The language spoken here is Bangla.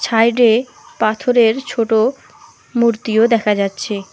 ছাইডে পাথরের ছোট মূর্তিও দেখা যাচ্ছে।